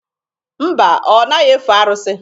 Mba, ọ naghị efe arụsị.